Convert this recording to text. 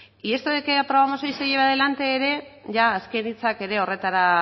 y esto de que aprobamos hoy se lleve adelante ere azken hitzak ere horretara